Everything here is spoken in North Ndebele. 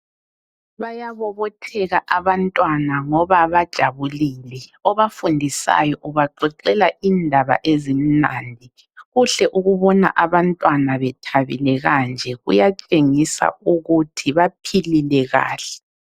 Bayabobotheka abantwana ngoba bajabulile. Obafundisayo ubaxoxela indaba ezimnandi. Kuhle ukubona abantwana bethabile kanje. Kuyatshengisa ukuthi baphilile kahle.